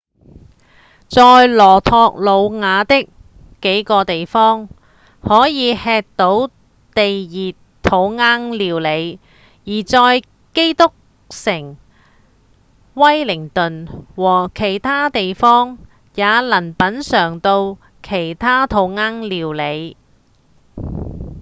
在羅托魯瓦的幾個地方可以吃到地熱土窯料理而在基督城、威靈頓和其他地方也能品嚐到其他土窯料理